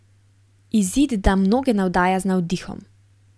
Izid da mnoge navdaja z navdihom.